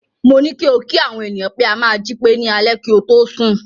Mo ní kí o kí àwọn ènìyàn pé a máa jí pé ní alẹ́ kí o tó sùn.